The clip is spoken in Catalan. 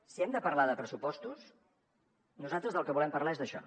si hem de parlar de pressupostos nosaltres del que volem parlar és d’això